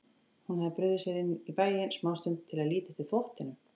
Hún hafði brugðið sér inn í bæinn smástund til að líta eftir þvottinum.